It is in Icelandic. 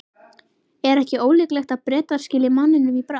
Er ekki ólíklegt að Bretar skili manninum í bráð?